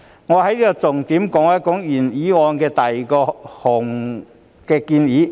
我重點談談原議案的第二項建議。